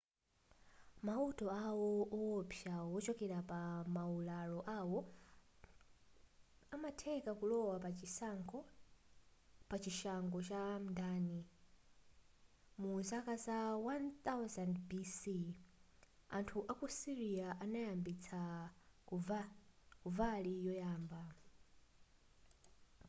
mauta awo owopsa wochokera pa maularo awo amatheka kulowa pachishango cha mdani mu zaka za 1000 bc anthu aku syria anayambitsa kavali yoyamba